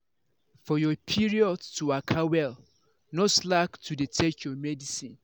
for your period to waka well no slack to dey take your medicine.